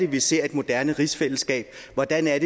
vi ser et moderne rigsfællesskab hvordan